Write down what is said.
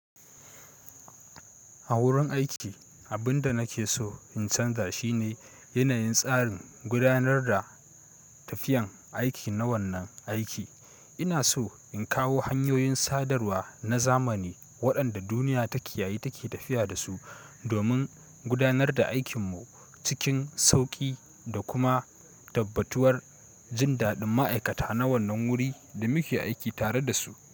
A wurin aiki, abin da nake so in canza shine yanayin tsarin gudanar da tafiyan aiki na wannan aiki. Ina so in kawo hanyoyin sadarwa na zamani waɗanda duniya ta ke yayi take tafiya da su domin gudanar da aikinmu cikin sauƙi da kuma tabbatuwar jin daɗin ma'aikata na wannan wuri da muke aiki tare da su.